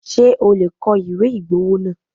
Ṣé o lè kọ ìwé ìgbowó náà?